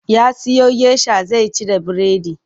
Ya siyo gesha zai ci da biredi.